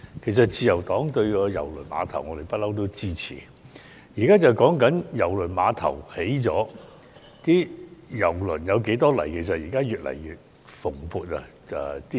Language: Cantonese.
其實自由黨一向支持郵輪碼頭，現在討論的是郵輪碼頭建成後，有多少郵輪來港。